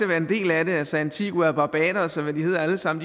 være en del af det altså antigua barbados og hvad de alle sammen